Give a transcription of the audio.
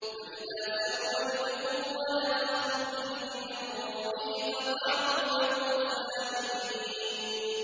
فَإِذَا سَوَّيْتُهُ وَنَفَخْتُ فِيهِ مِن رُّوحِي فَقَعُوا لَهُ سَاجِدِينَ